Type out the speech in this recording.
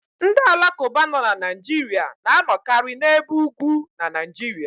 The Alakụba nọ na Naijiria na anọkari n'ebe ugwu na Naijiria.